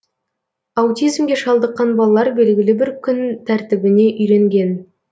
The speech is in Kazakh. аутизмге шалдыққан балалар белгілі бір күн тәртібіне үйренген